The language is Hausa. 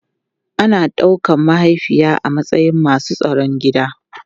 Ana daukar mahaifiya a matsayin masu tsaron gida.